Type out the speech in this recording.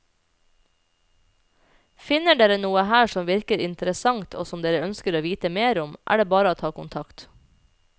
Finner dere noe her som virker interessant og som dere ønsker å vite mer om er det bare å ta kontakt.